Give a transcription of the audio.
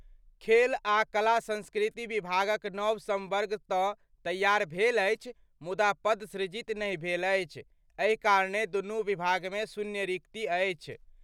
खेल आ कला संस्कृति विभागक नव संवर्ग तं तैयार भेल अछि, मुदा पद सृजित नहि भेल अछि, एहि कारणें दुनू विभाग मे शून्य रिक्ति अछि।